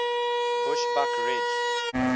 bushbuckridge